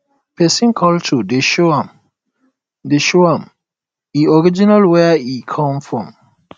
pesin culture dey show am dey show am e origin where e come from